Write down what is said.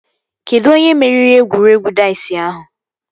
Kedụ onye meriri egwuregwu daiz ahụ?